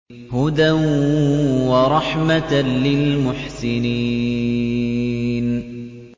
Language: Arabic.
هُدًى وَرَحْمَةً لِّلْمُحْسِنِينَ